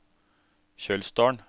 Kjølsdalen